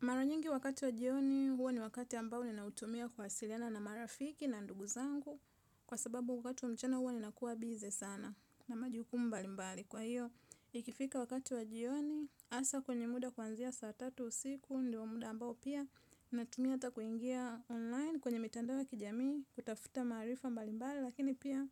Mara nyingi wakati wa jioni, huwa ni wakati ambao ninautumia kuwasilana na marafiki na ndugu zangu kwa sababu wakati wa mchana huwa ninakuwa busy sana na majukumu mbalimbali. Kwa hiyo, ikifika wakati wa jioni, hasa kwenye muda kuanzia saa tatu usiku, ndio muda ambao pia, natumia hata kuingia online kwenye mitandao ya kijamii kutafuta maarifa mbalimbali lakini pia